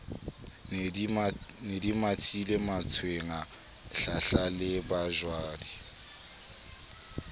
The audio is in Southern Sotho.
ne di mathile mantswenga hlahlalebajwadi